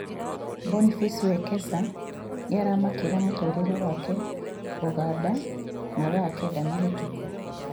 Boniface Wekesa nĩaramakĩra mũtũrĩre wake Uganda mathaa kenda mahĩtũku